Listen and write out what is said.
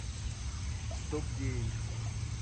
стоп гейм